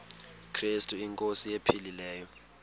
krestu inkosi ephilileyo